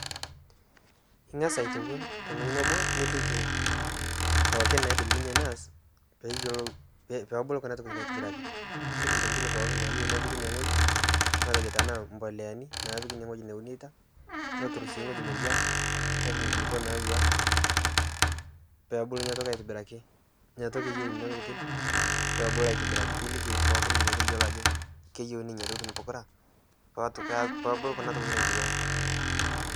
Ing'aas aitowuon to ng'ojii neboo nilikii pookin naidiim ninyee nieas pee eiyeloo pee ebuluu kuna ntokitiin aitibiraki. Nilikii ntokitin pooki naiyeu nepikii enia ng'ojii matejoo tana mboleani napiiki enia ng'ojii naunitaa. Netuur sii ng'oji naiwua nepiik nkulupoo naiwua pee ebuluu enia ntokii aitibirakii. Enia ntokii eiyeu nenia ntokitin pee ebuluu aitibirakii. Ilikii pooki meteiyelou ajoo keiyeuni nenia ntokitin pookira poo opuluu kuna ntokitin aitibiraki.